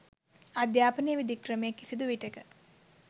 අධ්‍යාපනයේ විධික්‍රමය කිසිදු විටෙක